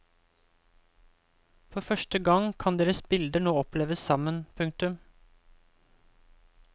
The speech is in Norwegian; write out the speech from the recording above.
For første gang kan deres bilder nå oppleves sammen. punktum